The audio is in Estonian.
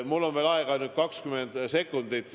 Mul on aega veel ainult 20 sekundit.